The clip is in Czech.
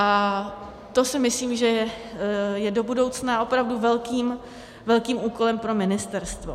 A to si myslím, že je do budoucna opravdu velkým úkolem pro ministerstvo.